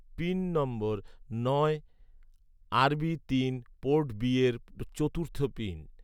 pin number নয়, আরবি তিন পোর্ট বি এর চতুর্থ পিন